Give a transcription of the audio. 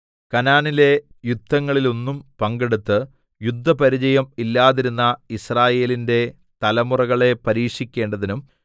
കനാനിലെ യുദ്ധങ്ങളിലൊന്നും പങ്കെടുത്ത് യുദ്ധ പരിചയം ഇല്ലാതിരുന്ന യിസ്രായേലിന്റെ തലമുറകളെ പരീക്ഷിക്കേണ്ടതിനും